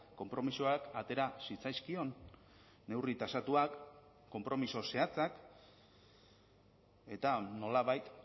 konpromisoak atera zitzaizkion neurri tasatuak konpromiso zehatzak eta nolabait